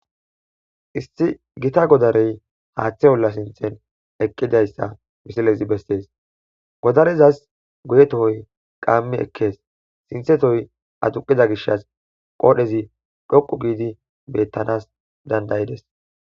Issi gita godarey haaththe oola sinththan eeqidayssa besses godarezas guye tohoy qaami ekes sinththe tohoy aduqiza giishshas qodhdhey dhoqu hiiddi bettanas dandayodes